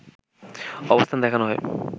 অবস্থান দেখানো হয়